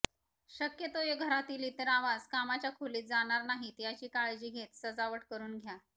शक्यतो घरातील इतर आवाज कामाच्या खोलीत जाणार नाहीत याची काळजी घेत सजावट करून घ्या